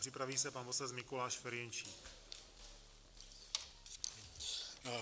Připraví se pan poslanec Mikuláš Ferjenčík.